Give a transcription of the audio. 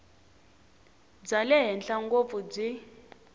bya le henhla ngopfu byi